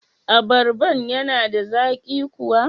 Abarban yana da zaƙi kuwa?